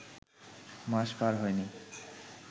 মাস পার হয়নি